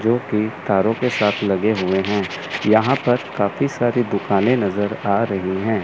जोकि तारों के साथ लगे हुए हैं। यहां पर काफी सारी दुकानें नजर आ रही हैं।